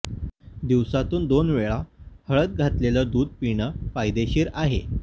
दिवसांतून दोन वेळा हळद घातलेलं दूध पिणं फायदेशीर आहे